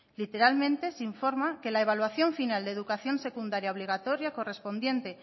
literalmente se informa que la evaluación final de educación secundaria obligatoria correspondiente